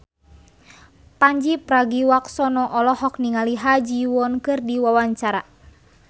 Pandji Pragiwaksono olohok ningali Ha Ji Won keur diwawancara